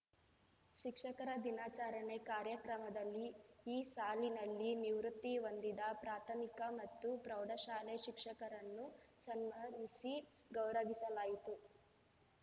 ಶಿಕ್ಷಕರ ದಿನಾಚರಣೆ ಕಾರ್ಯಕ್ರಮದಲ್ಲಿ ಈ ಸಾಲಿನಲ್ಲಿ ನಿವೃತ್ತಿ ಹೊಂದಿದ ಪ್ರಾಥಮಿಕ ಮತ್ತು ಪ್ರೌಢಶಾಲೆ ಶಿಕ್ಷಕರನ್ನು ಸನ್ಮಾನಿಸಿ ಗೌರವಿಸಲಾಯಿತು